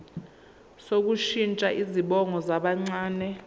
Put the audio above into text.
sokushintsha izibongo zabancane